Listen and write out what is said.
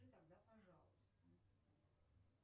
тогда пожалуйста